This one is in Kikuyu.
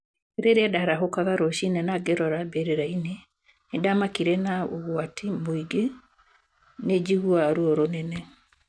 Rĩrĩa ndarahũkaga rũcinĩ na ngĩrora mbĩrĩra-inĩ, nĩ ndamakire na ũgwati mũingĩ, nĩ njiguaga ruo rũnene.